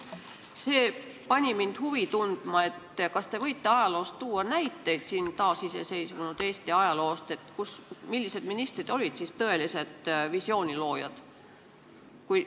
See tekitas minus huvi, kas te võite taasiseseisvunud Eesti ajaloost tuua näiteid, millised ministrid olid tõelised visiooni loojad.